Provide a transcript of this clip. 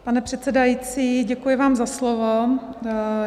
Pane předsedající, děkuji vám za slovo.